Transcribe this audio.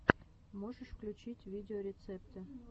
можешь включить видеорецепты